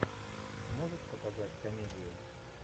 можешь показать комедию